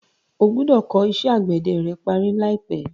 O gbọ́dọ̀ kọ́ iṣẹ́ àgbẹ̀dẹ rẹ parí láìpẹ́.